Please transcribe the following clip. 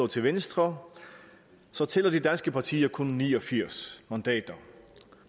til venstre så tæller de danske partier kun ni og firs mandater